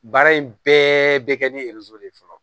Baara in bɛɛ bɛ kɛ ni de ye fɔlɔ